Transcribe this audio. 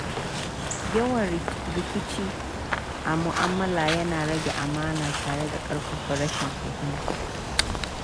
Yawan rikici a mu'amala yana rage amana tare da ƙarfafa rashin fahimta.